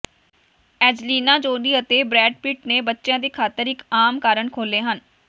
Angelina Jolie ਅਤੇ Brad Pitt ਨੇ ਬੱਚਿਆਂ ਦੀ ਖ਼ਾਤਰ ਇਕ ਆਮ ਕਾਰਨ ਖੋਲ੍ਹੇ ਹਨ